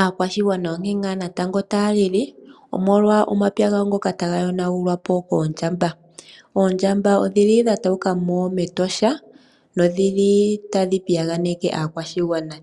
Aakwashigwana onkee nga natango taa lili omolwa omapya gawo ngoka taga yonagulwa po koondjamba. Oondjamba odhi li dha tauka mo metosha nodhili tadhi piyaganeke aakwashigwana.